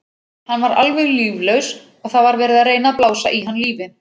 Hann var alveg líflaus og það var verið að reyna að blása í hann lífi.